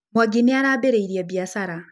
Mwangi nĩ arambĩrĩirie biacara.